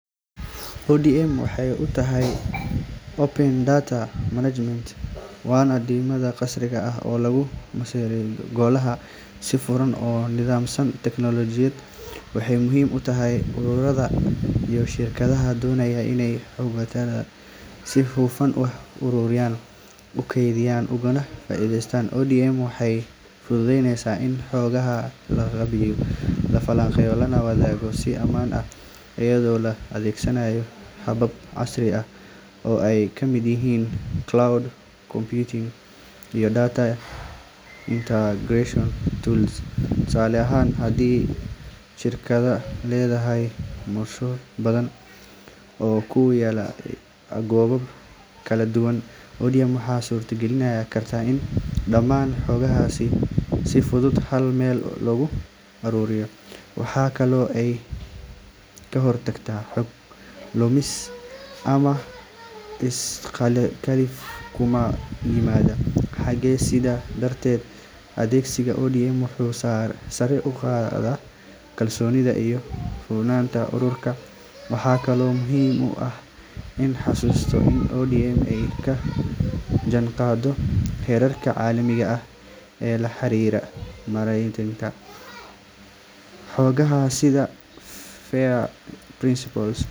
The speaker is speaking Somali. ODM waxay u taagan tahay Open Data Management waana nidaam casri ah oo lagu maareeyo xogaha si furan oo nidaamsan. Teknoolojiyaddan waxay muhiim u tahay ururada iyo shirkadaha doonaya inay xogtooda si hufan u ururiyaan, u kaydiyaan, ugana faa'iideystaan. ODM waxay fududeyneysaa in xogaha la qaabeeyo, la falanqeeyo, lana wadaago si ammaan ah, iyadoo la adeegsanayo habab casri ah oo ay ka mid yihiin cloud computing iyo data integration tools. Tusaale ahaan, haddii shirkad leedahay mashruucyo badan oo ku kala yaalla gobollo kala duwan, ODM waxay suurta gelin kartaa in dhammaan xogahaas si fudud hal meel loogu ururiyo. Waxa kale oo ay ka hortagtaa xog lumis ama is khilaaf ku yimaada xogaha. Sidaa darteed, adeegsigga ODM wuxuu sare u qaadaa kalsoonida iyo hufnaanta ururka. Waxaa kaloo muhiim ah in la xuso in ODM ay la jaanqaado heerarka caalamiga ah ee la xiriira maaraynta xogaha sida FAIR principles